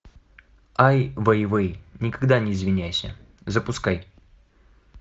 ай вейвей никогда не извиняйся запускай